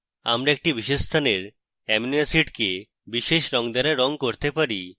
আমরা একটি বিশেষ স্থানের amino acid কে বিশেষ রঙ দ্বারা রঙ করতে পারি